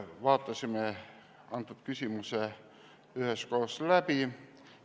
Vaatasime küsimuse üheskoos läbi.